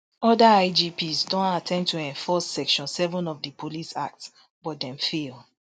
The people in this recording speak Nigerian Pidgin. oda igps don attempt to enforce section seven of di police act but dem fail